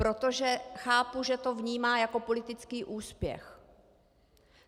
Protože chápu, že to vnímá jako politický úspěch.